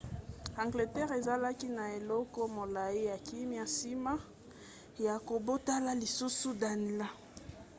angleterre ezalaki na eleko molai ya kimia nsima ya kobotola lisusu danelaw